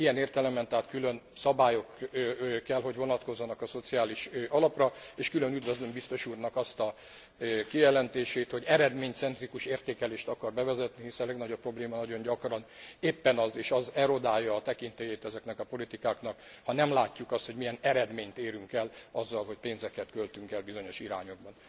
Ilyen értelemben tehát külön szabályok kell hogy vonatkozzanak a Szociális Alapra, és külön üdvözlöm biztos úrnak azt a kijelentését, hogy eredménycentrikus értékelést akar bevezetni, hiszen a legnagyobb probléma nagyon gyakran éppen az és az erodálja a tekintélyét ezeknek a politikáknak ha nem látjuk azt, hogy milyen eredményt érünk el azzal, hogy pénzeket költünk el bizonyos irányokba.